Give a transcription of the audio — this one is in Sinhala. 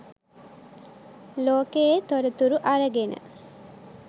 ලෝකයේ තොරතුරු අරගෙන